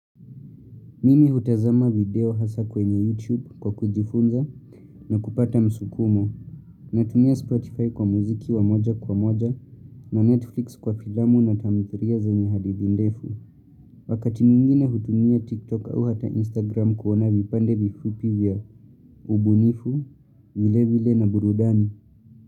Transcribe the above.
Mimi hutazama video hasa kwenye YouTube kwa kujifunza na kupata msukumo. Natumia Spotify kwa muziki wa moja kwa moja na Netflix kwa filamu na tamthilia zenye hadithi ndefu. Wakati mwingine hutumia TikTok au hata Instagram kuona vipande vifupi vya ubunifu, vile vile na burudani.